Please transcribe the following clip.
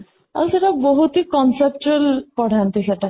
ଆଉ ସେଇଟା ବହୁତ ହି concert ପଢ଼ନ୍ତି ସେଇଟା